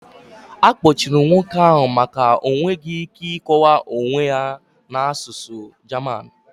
Akpọchiri nwoke ahụ maka o nweghị ike ịkọwa onye ya na asụsụ German.